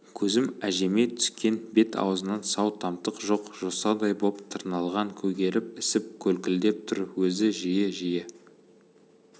көзім әжеме түскен бет-аузынан сау-тамтық жоқ жосадай боп тырналған көгеріп ісіп көлкілдеп тұр өзі жиі-жиі